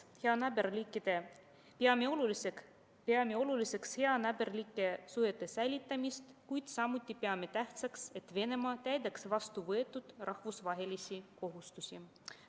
Peame oluliseks heanaaberlike suhete säilitamist, kuid samuti peame tähtsaks, et Venemaa täidaks endale võetud rahvusvahelisi kohustusi.